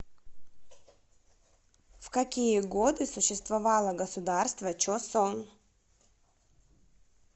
в какие годы существовало государство чосон